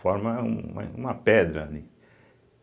Forma um uma pedra ali.